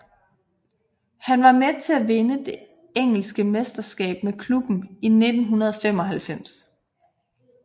Han var med til at vinde det engelske mesterskab med klubben i 1995